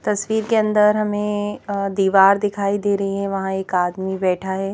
तस्वीर के अंदर हमें अ दीवार दिखाई दे रही है वहाँ एक आदमी बैठा है।